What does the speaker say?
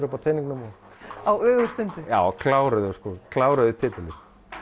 upp á teningunum á ögurstundu já kláruðu sko kláruðu titilinn